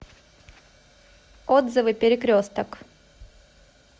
отзывы перекресток